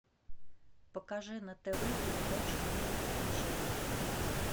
покажи на тв передачу мир увлечений